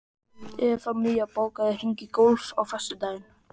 Evfemía, bókaðu hring í golf á föstudaginn.